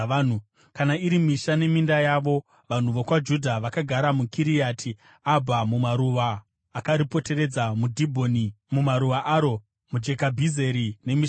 Kana iri misha neminda yavo, vanhu vokwaJudha vakagara muKiriati Abha namaruwa akaripoteredza, muDhibhoni namaruwa aro, muJekabhizeri nemisha yaro,